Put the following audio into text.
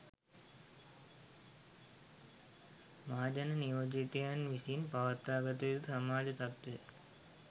මහජන නියෝජිතයින් විසින් පවත්වාගත යුතු සමාජ තත්ත්වය